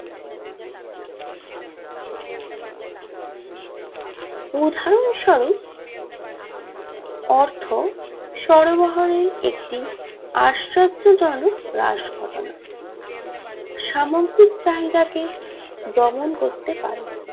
উদহারণ স্বরূপ অর্থ সরবরাহের একটি আশ্চর্য জনক হ্রাস ঘটনা সামগ্রিক চাহিদাকে দমন করতে পারে